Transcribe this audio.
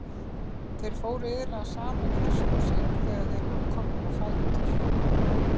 Þeir fóru iðulega saman í hesthúsin þegar þeir voru komnir á fætur.